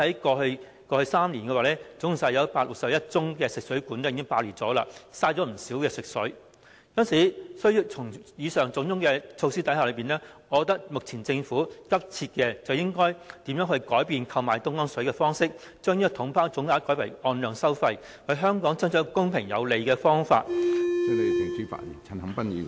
過去數年，已有很多宗食水管爆裂事件，浪費不少食水，故此，政府需要推行上述種種措施，而我認為政府目前急切要做的是，如何改變購買東江水的方式，將購買方式由"統包總額"改為"按量收費"，為香港爭取公平合理的方法......